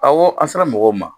Ɔwɔ an sera mɔgɔw ma